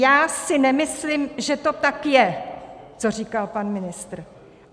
Já si nemyslím, že to tak je, co říkal pan ministr.